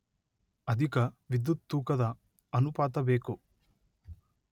ಅಧಿಕ ವಿದ್ಯುತ್ ತೂಕದ ಅನುಪಾತ ಬೇಕು